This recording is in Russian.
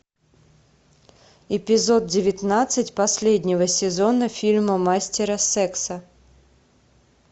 эпизод девятнадцать последнего сезона фильма мастера секса